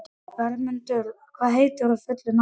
Vermundur, hvað heitir þú fullu nafni?